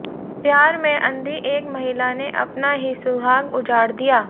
प्यार में अंधी एक महिला ने अपना ही सुहाग उजाड दिया